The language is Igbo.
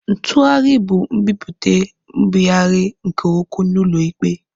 Ntugharị bụ nbipute nbigharị nke okwu n'ụlọ ikpe.